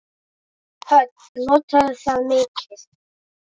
Hödd: Notarðu það mikið?